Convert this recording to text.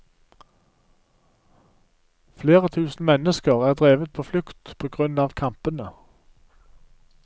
Flere tusen mennesker er drevet på flukt på grunn av kampene.